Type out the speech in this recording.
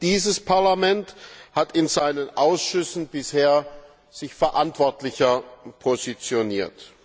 Dieses Parlament hat sich in seinen Ausschüssen bisher verantwortlicher positioniert.